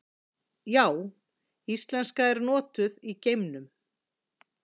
Já, íslenska er notuð í geimnum!